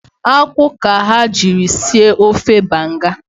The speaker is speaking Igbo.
Akwụ ka ha jiri sie ofe banga